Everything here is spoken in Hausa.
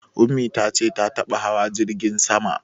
Ummi ta ce ta taɓa hawa jirgin sama